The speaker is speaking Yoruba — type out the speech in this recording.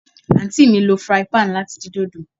Aunty mi lo frying pan lati din dodo